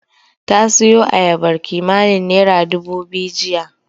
Ta siyo ayabar kimanin naira dubu biyu jiya.